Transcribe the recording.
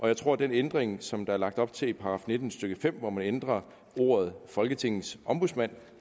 jeg tror at den ændring som der er lagt op til i § nitten stykke fem hvor man ændrer ordet folketingets ombudsmand